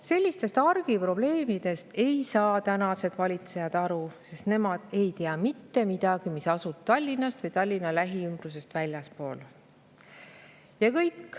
Sellistest argiprobleemidest ei saa tänased valitsejad aru, sest nemad ei tea mitte midagi sellest, mis toimub Tallinnast ja Tallinna lähiümbrusest väljaspool.